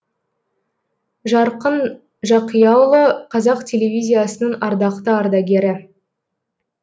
жарқын жақияұлы қазақ телевизиясының ардақты ардагері